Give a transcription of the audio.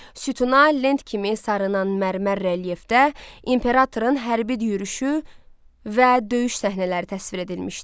Sütuna lent kimi sarınan mərmər relyefdə imperatorun hərbi yürüşü və döyüş səhnələri təsvir edilmişdi.